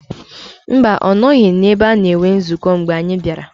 Mba, ọ nọghị n’ebe a na-enwe nzukọ mgbe anyị bịara